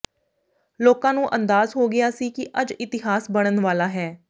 ਲੋਕਾਂ ਨੂੰ ਅੰਦਾਜ਼ ਹੋ ਗਿਆ ਸੀ ਕਿ ਅੱਜ ਇਤਿਹਾਸ ਬਣਨ ਵਾਲਾ ਹੈ